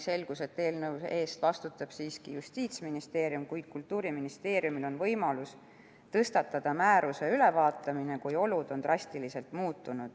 Selgus, et eelnõu eest vastutab Justiitsministeerium, kuid Kultuuriministeeriumil on võimalus algatada määruse ülevaatamine, kui olud on drastiliselt muutunud.